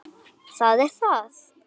Það er það.